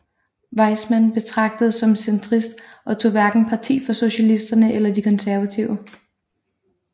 Weizmann betragtedes som centrist og tog hverken parti for socialisterne eller de konservative